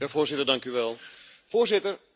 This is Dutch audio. Griekenland heeft een probleem met de waarheid.